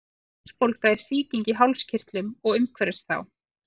hálsbólga er sýking í hálskirtlum og umhverfis þá